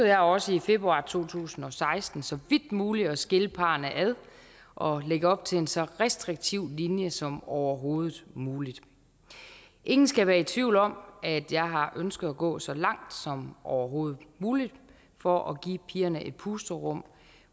jeg også i februar to tusind og seksten så vidt muligt at skille parrene ad og lægge op til en så restriktiv linje som overhovedet muligt ingen skal være i tvivl om at jeg har ønsket at gå så langt som overhovedet muligt for at give pigerne et pusterum